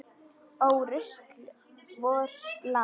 Ó rusl vors lands.